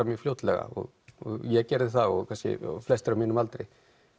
mjög fljótlega og ég gerði það og kannski flestir á mínum aldri